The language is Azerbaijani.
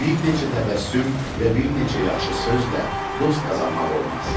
Bir neçə təbəssüm və bir neçə yaxşı sözlə dost qazanmaq olmaz.